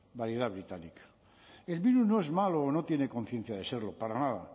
variedad británica el virus no es malo o no tiene conciencia de serlo para nada